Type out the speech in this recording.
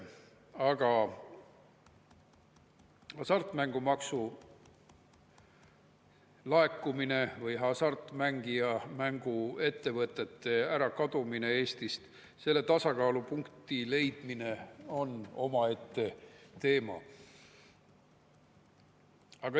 Aga hasartmängumaksu laekumine ja hasartmängu ettevõtete kadumine Eestist – siin selle tasakaalupunkti leidmine on omaette teema.